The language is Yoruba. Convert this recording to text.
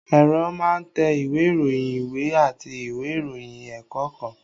Ẹ̀rọ máa ń tẹ ìwé ìròyìn, ìwé àti ìwé ìròyìn ẹ̀kọ́ kan